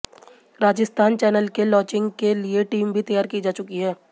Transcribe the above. Rajasthan channel के launching के लिए टीम भी तैयार की जा चुकी है